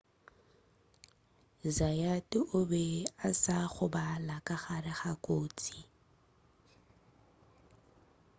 zayat o be a sa gobala ka gare ga kotsi